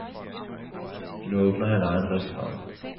Nu åbner han egen restaurant.